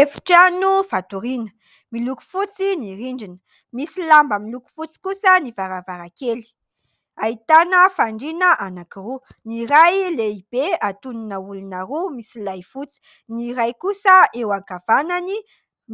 Efitrano fatoriana, miloko fotsy ny rindrina, misy lamba miloko fotsy kosa ny varavarankely. Ahitana fandriana anankiroa : ny iray lehibe antonona olona roa, misy lay fotsy ; ny iray kosa eo ankavanany,